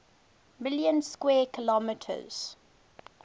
million square kilometers